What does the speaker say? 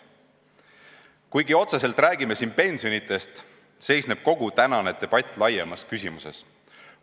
Kuigi otseselt räägime siin pensionidest, seisneb kogu tänane debatt laiemates küsimustes.